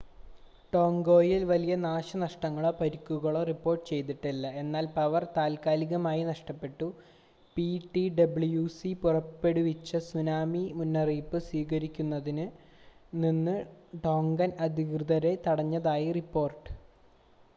ടോംഗയിൽ വലിയ നാശനഷ്ടങ്ങളോ പരിക്കുകളോ റിപ്പോർട്ട് ചെയ്തിട്ടില്ല എന്നാൽ പവർ താൽക്കാലികമായി നഷ്ടപ്പെട്ടു പിടിഡബ്ല്യുസി പുറപ്പെടുവിച്ച സുനാമി മുന്നറിയിപ്പ് സ്വീകരിക്കുന്നതിൽ നിന്ന് ടോങ്കൻ അധികൃതരെ തടഞ്ഞതായി റിപ്പോർട്ട്